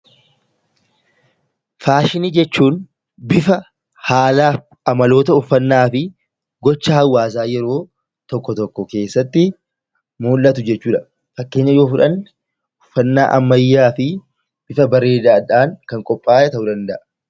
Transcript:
Faashinii jechuun bifa haalaaf amaloota uffannaa fi gocha hawaasaa yeroo tokko tokko keessatti mul'atu jechuu dha. Fakkeenya yoo fudhanne uffannaa ammayyaa fi bifa bareedaa dhaan kan qophaa'e ta'uu danda'a.